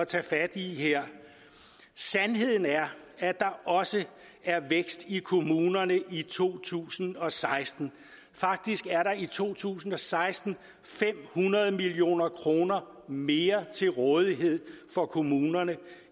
tage fat i her sandheden er at der også er vækst i kommunerne i to tusind og seksten faktisk er der i to tusind og seksten fem hundrede million kroner mere til rådighed for kommunerne